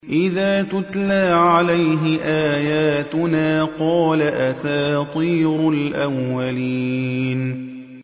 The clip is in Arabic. إِذَا تُتْلَىٰ عَلَيْهِ آيَاتُنَا قَالَ أَسَاطِيرُ الْأَوَّلِينَ